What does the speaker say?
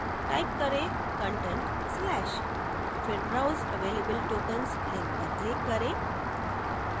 type करें content/फिर browse available tokens link पर click करें